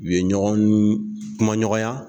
U ye ɲɔgɔn n n kumaɲɔgɔnya!